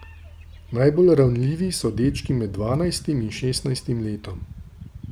Najbolj ranljivi so dečki med dvanajstim in šestnajstim letom.